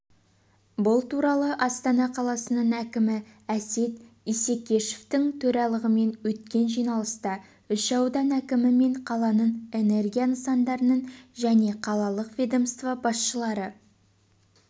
бұл туралы астана қаласының әкімі әсет исекешевтің төрағалығымен өткен жиналыста үш аудан әкімі мен қаланың энергия нысандарының және қалалық ведомство басшылары